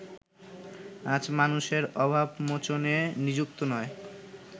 আজ মানুষের অভাবমোচনে নিযুক্ত নয়